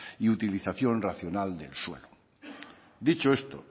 y utilización racional del suelo dicho esto